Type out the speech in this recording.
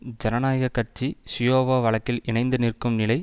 ஜனநாயக கட்சி ஷியாவோ வழக்கில் இணைந்து நிற்கும் நிலை